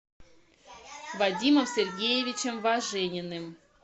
вадимом сергеевичем важениным